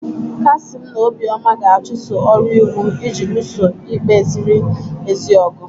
Kasim na Obioma ga-achụso ọrụ iwu iji lụso ikpe ziri ezi ọgụ.